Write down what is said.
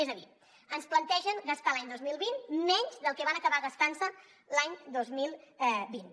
és a dir ens plantegen gastar l’any dos mil vint dos menys del que van acabar gastant se l’any dos mil vint